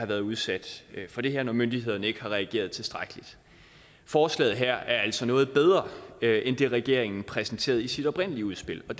været udsat for det her når myndighederne ikke har reageret tilstrækkeligt forslaget her er altså noget bedre end det regeringen præsenterede i sit oprindelige udspil og